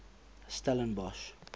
stellenbosch